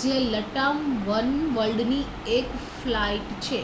જે લટામ વનવર્લ્ડની એક ફ્લાઇટ છે